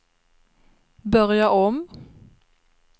börja om